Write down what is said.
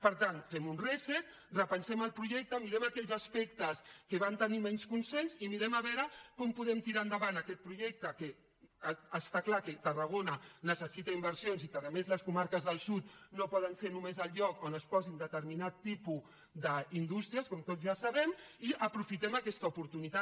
per tant fem un reset repensem el projecte mirem aquells aspectes que van tenir menys consens mirem a veure com podem tirar endavant aquest projecte que està clar que tarragona necessita inversions i que a més les comarques del sud no poden ser només el lloc on es posin determinats tipus d’indústries com tots ja sabem i aprofitem aquesta oportunitat